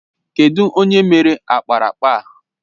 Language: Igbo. Kedụ onye mere ákpáraàkpà a?